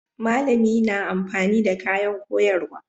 Malami na amfani da kayan koyarwa.